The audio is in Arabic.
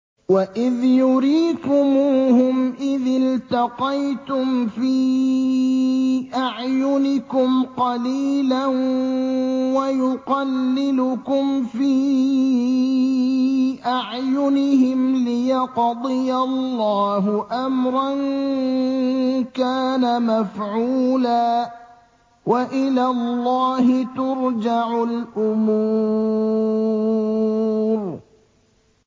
وَإِذْ يُرِيكُمُوهُمْ إِذِ الْتَقَيْتُمْ فِي أَعْيُنِكُمْ قَلِيلًا وَيُقَلِّلُكُمْ فِي أَعْيُنِهِمْ لِيَقْضِيَ اللَّهُ أَمْرًا كَانَ مَفْعُولًا ۗ وَإِلَى اللَّهِ تُرْجَعُ الْأُمُورُ